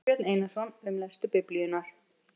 Sigurbjörn Einarsson, Um lestur Biblíunnar.